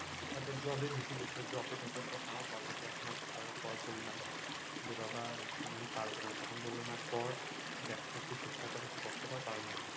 তারপর job এ ঢুকিয়ে দিলো, job এ ঢোকার পর তাও বাবা কে এক মাস করার পর বললাম, বাবা আমি পারবো না, তখন বললো না কর দেখ একটু চেষ্টা কর একটু কষ্ট কর পারবি।